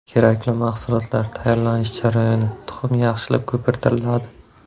Kerakli mahsulotlar: Tayyorlanish jarayoni: Tuxum yaxshilab ko‘pirtiriladi.